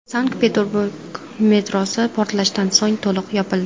Sankt-Peterburg metrosi portlashdan so‘ng to‘liq yopildi.